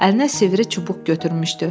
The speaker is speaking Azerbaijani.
Əlinə sivri çubuq götürmüşdü.